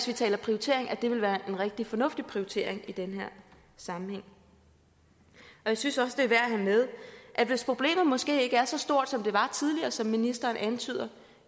vi taler prioritering at det vil være en rigtig fornuftig prioritering i den her sammenhæng jeg synes også det er værd at have med at hvis problemet måske ikke er så stort som det var tidligere som ministeren antyder